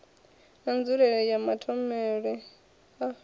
na nzulelele ya matholetwe a